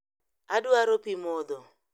Adwaro pii modho